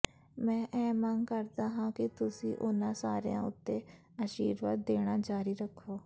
ਮੈਂ ਇਹ ਮੰਗ ਕਰਦਾ ਹਾਂ ਕਿ ਤੁਸੀਂ ਉਨ੍ਹਾਂ ਸਾਰਿਆਂ ਉੱਤੇ ਅਸ਼ੀਰਵਾਦ ਦੇਣਾ ਜਾਰੀ ਰੱਖੋ